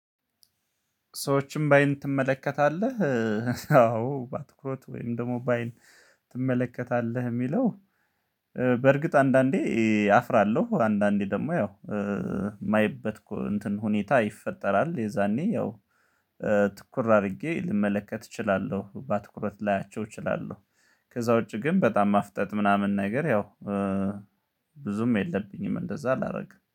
ሰዎችን በአይን ትመለከታለህ አዎ በትኩረት ወይም ደግሞ በአይን ትመለከታለህ የሚለው በርግጥ አንዳንዴ አፍራለሁ አንዳንዴ ደግሞ ያው የማይበት እንትን ሁኔታ ይፈጠራል የዛኔ ያው ትኩር አድርጌ ልመለከት እችላለሁ በትኩረት ላያቸው እችላለሁ፤ ከዛ ውጪ ግን በጣም ማፍጠጥ ምናምን ነገር ያው ብዙም የለብኝም እንደዛ አላረግም።